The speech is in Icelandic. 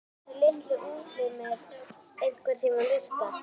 Skyldu þessir litlu útlimir einhverntíma virka?